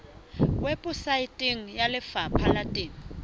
weposaeteng ya lefapha la temo